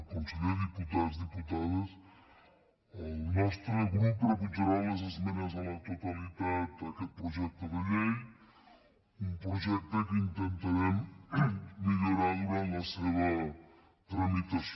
conseller diputats diputades el nostre grup rebutjarà les esmenes a la totalitat d’aquest projecte de llei un projecte que intentarem millorar durant la seva tramitació